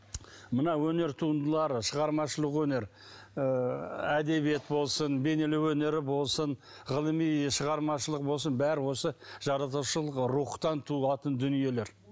мына өнер туындылары шығармашылық өнер ыыы әдебиет болсын бейнелеу өнері болсын ғылыми шығармашылық болсын бәрі осы жаратушылық рухтан туылатын дүниелер